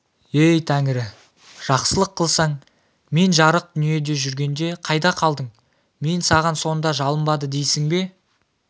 ей тәңірі жақсылық қылсаң мен жарық дүниеде жүргенде қайда қалдың мен саған сонда жалынбады дейсің бе